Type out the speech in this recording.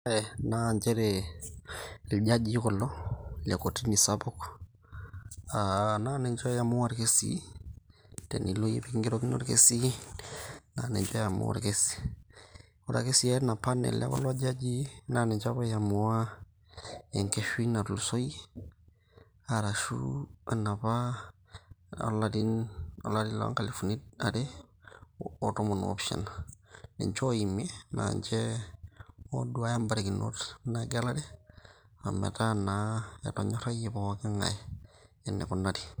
Na njere iljajii kulo, le kotini sapuk. Ah na ninche oamua irkesii. Tenilo yie pekigerokino orkesi, na ninche oamua orkesi. Ore ake si ena panel ekulo jajii, na ninche oamua enkeshui natulusoyie, arashu enapa olarin olari lonkalifuni are otomon opishana. Ninche oimie, na ninche oduaya barikinot egelare, ometaa naa etonyorrayie pooking'ae enikunari.